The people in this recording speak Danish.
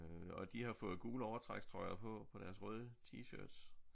Og de har fået gule overtrækstrøjer på på deres røde tshirts